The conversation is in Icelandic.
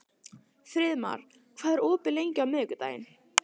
Friðmar, hvað er opið lengi á miðvikudaginn?